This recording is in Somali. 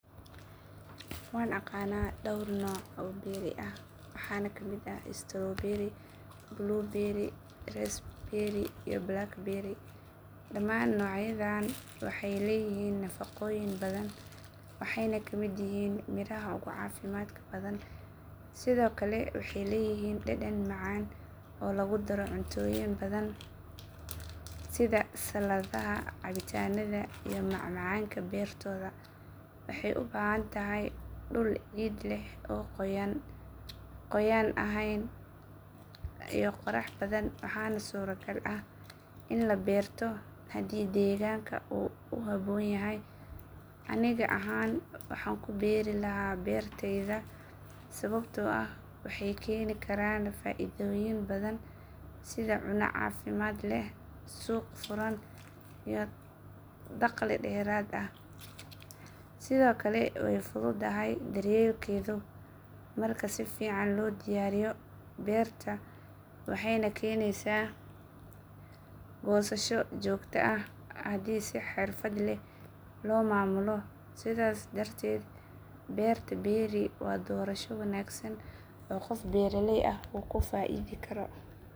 Waan aqaan dhowr nooc oo berry ah. Waxaa ka mid ah: strawberry, blueberry, roseberry, blackberry. Dhammaan noocyadan waxay leeyihiin nafaqooyin, waxayna ka mid yihiin miraha ugu caafimaadka badan. Sidoo kale, waxay leeyihiin dhadhan macaan oo lagu daro cuntooyin badan sida saladaha, cabitaanka, iyo macmacaanka. Beertooda waxay u baahan tahay dhul ciid leh, oo qoyan ahayn , iyo qorax badan. Waxaana suuragal ah in la beero. Haddii ay suuragal tahay, aniga ahaan waxaan ku beeri lahaa beertayda. Sababta ah waxay keeni kartaa faa’iidooyin fara badan sida cuntooyin faa’iido leh, suuq furan, iyo dakhli dheeraad ah. Sidoo kale, way fududahay marka si fiican loo diyaariyo beerta, waxayna keeni kartaa goosasho joogto ah haddii si xirfad leh loo maamulo. Sidaas darteed, beerista berry waa doorasho wanaagsan oo qof beeraley ah ku faa’iidi karo.